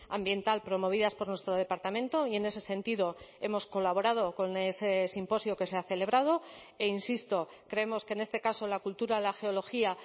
ambiental promovidas por nuestro departamento y en ese sentido hemos colaborado con ese simposio que se ha celebrado e insisto creemos que en este caso la cultura la geología